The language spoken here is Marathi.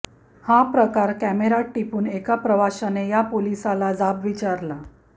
हा प्रकार कॅमेऱ्यात टिपून एका प्रवाशाने या पोलिसाला जाब विचारला